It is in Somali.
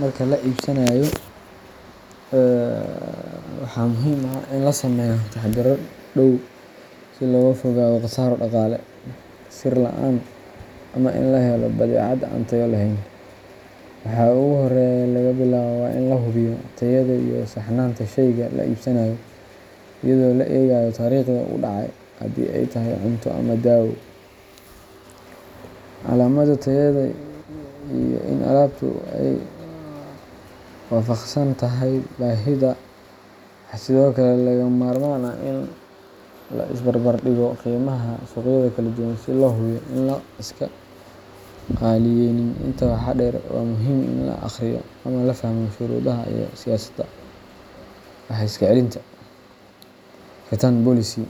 Marka wax la iibsanayo, waxaa muhiim ah in la sameeyo taxaddarro dhow si looga fogaado khasaaro dhaqaale, sir la'aan ama in la helo badeecad aan tayo lahayn. Waxa ugu horreeya ee laga bilaabo waa in la hubiyo tayada iyo saxnaanta sheyga la iibsanayo, iyadoo la eegayo taariikhda uu dhacay (haddii ay tahay cunto ama daawo), calaamadda tayada, iyo in alaabtu ay waafaqsan tahay baahidaada. Waxaa sidoo kale lagama maarmaan ah in la is barbar dhigo qiimaha suuqyada kala duwan si loo hubiyo in aan la iska qaaliyeeynin. Intaa waxaa dheer, waa muhiim in la akhriyo ama la fahmo shuruudaha iyo siyaasadda wax-iska-celinta return policy,